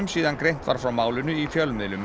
síðan greint var frá málinu í fjölmiðlum